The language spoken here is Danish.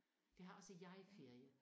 Der har også jeg ferie